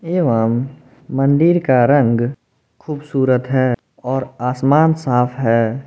एवं मंदिर का रंग खूबसूरत है और आसमान साफ है।